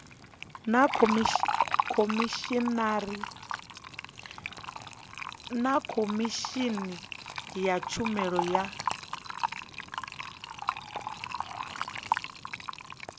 na khomishini ya tshumelo ya